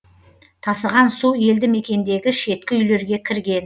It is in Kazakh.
тасыған су елді мекендегі шеткі үйлерге кірген